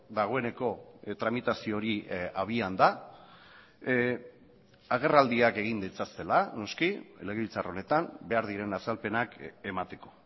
dagoeneko tramitazio hori abian da agerraldiak egin ditzatela noski legebiltzar honetan behar diren azalpenak emateko